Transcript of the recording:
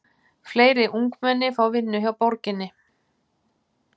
Fleiri ungmenni fá vinnu hjá borginni